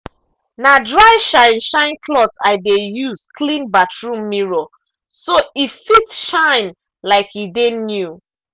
na dry shine-shine cloth i de use clean bathroom mirror so e fit shine like e dey new.